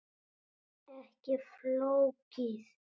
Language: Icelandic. Ekki flókið.